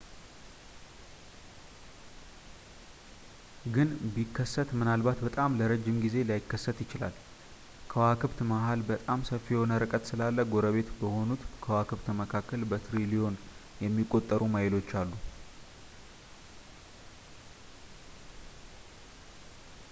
ግን ፣ ቢከሰት ምናልባት በጣም ለረጅም ጊዜ ላይከሰት ይችላል። ከዋክብት መሃል በጣም ሰፊ የሆነ ርቀት ስላለ ጎረቤት በሆኑት ከዋክብት መካከል በትሪሊዮን የሚቆጠሩ ማይሎች አሉ ”፡፡